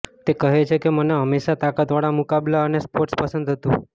તે કહે છે કે મને હંમેશા તાકાતવાળા મુકાબલા અને સ્પોર્ટ્સ પસંદ હતુ